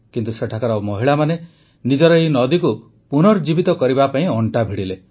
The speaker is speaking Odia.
କିନ୍ତୁ ସେଠାକାର ମହିଳାମାନେ ନିଜର ଏହି ନଦୀକୁ ପୁନର୍ଜୀବିତ କରିବା ପାଇଁ ଅଣ୍ଟା ଭିଡ଼ିଲେ